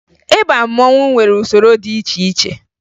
Ịba mmanwụ nwere usoro dị iche iche